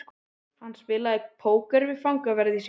Hann spilaði póker við fangaverði sína.